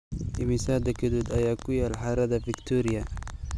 Immisa dekedood ayaa ku yaal harada Victoria?